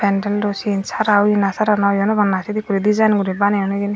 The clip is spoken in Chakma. pendalo siyen sara oye na sara noi hwnopang na sedey guri dezayen guri baneyon hejeni.